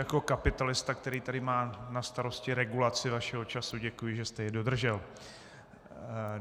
Jako kapitalista, který tady má na starosti regulaci vašeho času, děkuji, že jste jej dodržel.